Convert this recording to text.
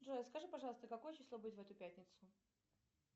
джой скажи пожалуйста какое число будет в эту пятницу